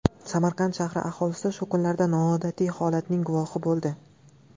Samarqand shahri aholisi shu kunlarda noodatiy holatning guvohi bo‘ldi.